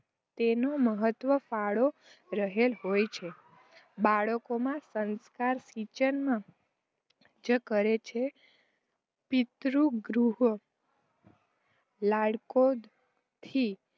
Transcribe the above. તેનું મહત્વ ફાળો રહેલો હોય છે. બાળકોમાં સંસ્કારસિંચન મા સિંચન કરે છે. પિતૃગૃહો લાડકોડથી